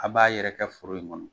A b'a yɛrɛkɛ foro in kɔnɔ